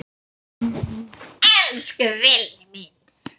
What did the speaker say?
Elsku Villi minn.